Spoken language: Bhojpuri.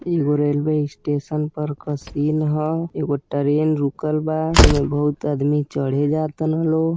एगो रेलवे स्टेशन पर के सीन ह एगो ट्रेन रुकल बा ओ मे बहुत आदमी चढ़े जा तारन लोग --